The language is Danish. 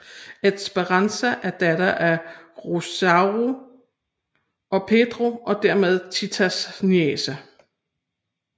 Esperanza er datter af Rosaura og Pedro og dermed Titas niece